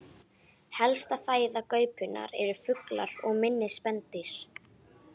Helsta fæða gaupunnar eru fuglar og minni spendýr.